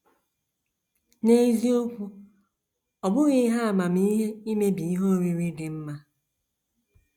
N’eziokwu, ọ bụghị ihe amamihe imebi ihe oriri dị mma.